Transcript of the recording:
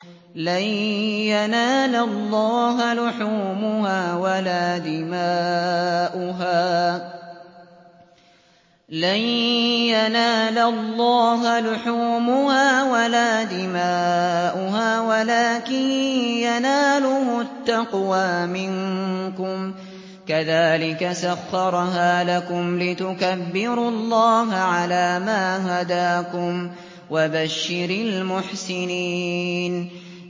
لَن يَنَالَ اللَّهَ لُحُومُهَا وَلَا دِمَاؤُهَا وَلَٰكِن يَنَالُهُ التَّقْوَىٰ مِنكُمْ ۚ كَذَٰلِكَ سَخَّرَهَا لَكُمْ لِتُكَبِّرُوا اللَّهَ عَلَىٰ مَا هَدَاكُمْ ۗ وَبَشِّرِ الْمُحْسِنِينَ